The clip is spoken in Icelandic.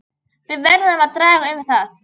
Við verðum að draga um það.